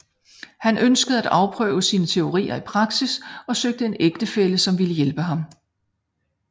Han ønskede at afprøve sine teorier i praksis og søgte en ægtefælle som ville hjælpe ham